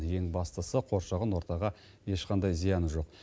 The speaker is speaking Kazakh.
ең бастысы қоршаған ортаға ешқандай зияны жоқ